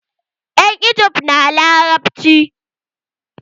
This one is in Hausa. Yan igib na larabci.